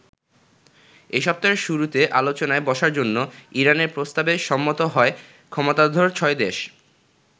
এ সপ্তাহের শুরুতে আলোচনায় বসার জন্য ইরানের প্রস্তাবে সম্মত হয় ক্ষমতাধর ছয় দেশ।